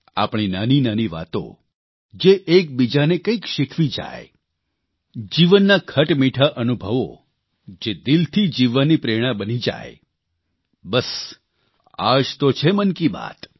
આપણી નાની નાની વાતો જે એકબીજાને કંઇક શીખવી જાય જીવનના ખટમીઠા અનુભવો જે દિલથી જીવવાની પ્રેરણા બની જાય બસ આ જ તો છે મન કી બાત